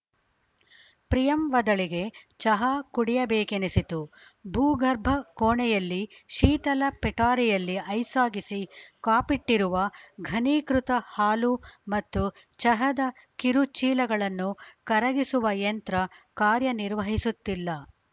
ಪ್ರಿಯಂವದಳಿಗೆ ಚಹ ಕುಡಿಯಬೇಕೆನಿಸಿತು ಭೂಗರ್ಭ ಕೋಣೆಯಲ್ಲಿ ಶೀತಲ ಪೆಟಾರಿಯಲ್ಲಿ ಐಸಾಗಿಸಿ ಕಾಪಿಟ್ಟಿರುವ ಘನೀಕೃತ ಹಾಲು ಮತ್ತು ಚಹದ ಕಿರು ಚೀಲಗಳನ್ನು ಕರಗಿಸುವ ಯಂತ್ರ ಕಾರ್ಯನಿರ್ವಹಿಸುತ್ತಿಲ್ಲ